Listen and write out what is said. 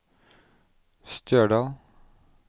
Stjørdal